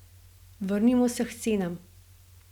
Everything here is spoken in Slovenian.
Vrnimo se k cenam.